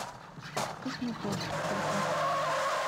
космопорт фото